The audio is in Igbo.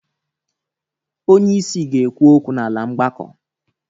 Onyeisi ga-ekwu okwu n'ala mgbakọ.